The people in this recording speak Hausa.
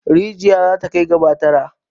Rijiyar za ta kai gaba tara.